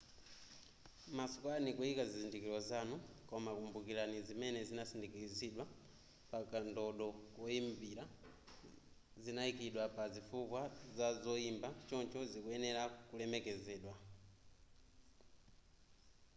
masukani kuyika zizindikilo zanu koma kumbukilani zimene zinasindikizidwa pa kandodo koyimbira zinayikidwa pa zifukwa za zoyimba choncho zikuyenela kulemekezedwa